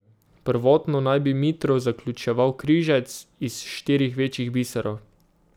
Prvotno naj bi mitro zaključeval križec iz štirih večjih biserov.